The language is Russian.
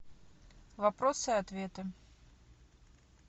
вопросы и ответы